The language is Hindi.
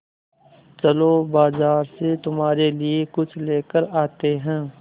चलो बाज़ार से तुम्हारे लिए कुछ लेकर आते हैं